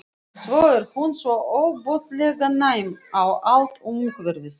Svo er hún svo ofboðslega næm á allt umhverfið.